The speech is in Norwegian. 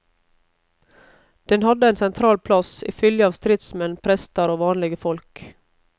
Den hadde ein sentral plass i fylgje av stridsmenn, prestar og vanlege folk.